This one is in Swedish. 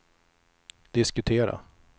diskutera